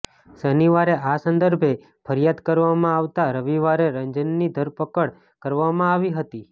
શનિવારે આ સંદર્ભે ફરિયાદ કરવામાં આવતાં રવિવારે રંજનની ધરપકડ કરવામાં આવી હતી